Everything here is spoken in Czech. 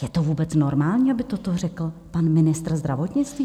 Je to vůbec normální, aby toto řekl pan ministr zdravotnictví?